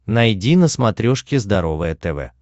найди на смотрешке здоровое тв